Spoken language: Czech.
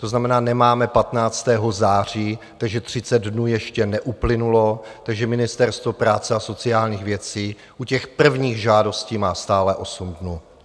To znamená, nemáme 15. září, takže 30 dnů ještě neuplynulo, takže Ministerstvo práce a sociálních věcí u těch prvních žádostí má stále 8 dnů.